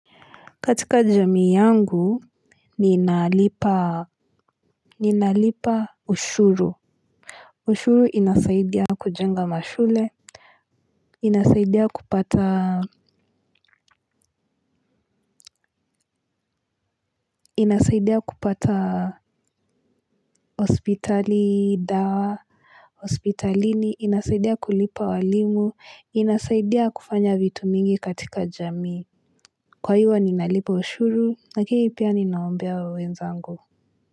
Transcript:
Katika jamii yangu ninalipa ninalipa ushuru ushuru inasaidia kujenga mashule inasaidia kupata inasaidia kupata hospitali dawa hospitalini inasaidia kulipa walimu inasaidia kufanya vitu mingi katika jamii kwa hiyo ninalipa ushuru lakini pia ninaombea wenzangu.